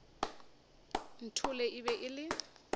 nthole e be e le